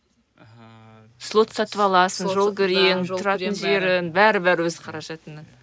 ыыы слот сатып аласың бәрі бәрі өз қаражатыңнан